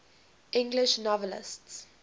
english novelists